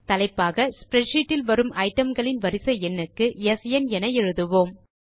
தலைப்பாக ஸ்ப்ரெட்ஷீட் இல் வரும் ஐட்டம் களின் வரிசை எண்ணுக்கு ஸ்ன் என எழுதுவோம்